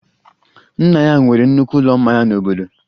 Nna ya nwere nnukwu ụlọ mmanya n'obodo